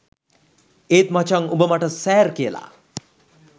ඒත් මචං උඹ මට සෑර් කියලා